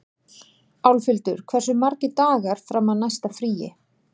Álfhildur, hversu margir dagar fram að næsta fríi?